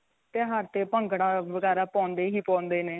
ਤਿਉਹਾਰ ਤੇ ਭੰਗੜਾ ਵਗੈਰਾ ਪਾਉਂਦੇ ਹੀ ਪਾਉਂਦੇ ਨੇ